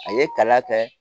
A ye kala kɛ